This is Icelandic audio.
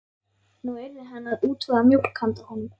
Nú yrði hann að útvega mjólk handa honum.